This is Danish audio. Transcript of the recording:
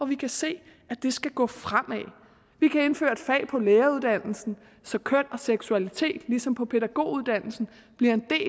vi kan se at det skal gå fremad vi kan indføre et fag på læreruddannelsen så køn og seksualitet ligesom på pædagoguddannelsen bliver en del